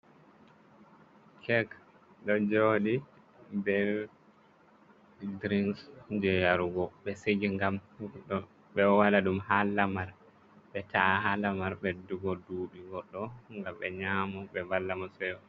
Kek ɗo jooɗi be drinks jei yarugo be sigi ngam... ɓe ɗo waɗa ɗum ha lamar, ɓe ta'a lamar ɓeddugo duuɓi goɗɗo, ngam ɓe nyaamo ɓe valla mo seyo.